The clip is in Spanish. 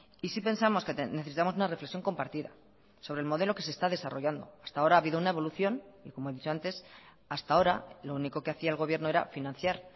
y sí pensamos que necesitamos una reflexión compartida sobre el modelo que se está desarrollando hasta ahora ha habido una evolución y como he dicho antes hasta ahora lo único que hacia el gobierno era financiar